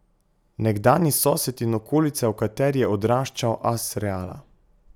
Nekdanji sosed in okolica, v kateri je odraščal as Reala.